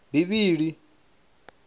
bivhili